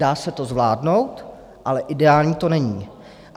Dá se to zvládnout, ale ideální to není.